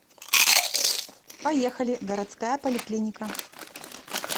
поехали городская поликлиника